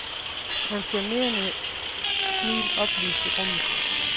Hans charmerende smil oplyste rummet.